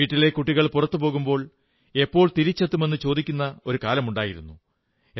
വീട്ടിലെ കുട്ടികൾ പുറത്തു പോകുമ്പോൾ എപ്പോൾ തിരിച്ചെത്തുമെന്നു ചോദിക്കുമായിരുന്ന ഒരു കാലമുണ്ടായിരുന്നു